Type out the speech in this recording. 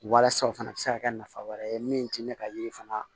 Walasa o fana bɛ se ka kɛ nafa wɛrɛ ye min tɛ ne ka yiri fana